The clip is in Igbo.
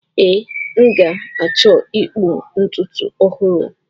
Ee, m ga-achọ ịkpụ ntutu ọhụrụ.